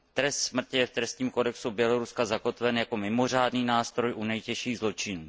Trest smrti je v trestním kodexu Běloruska zakotven jako mimořádný nástroj u nejtěžších zločinů.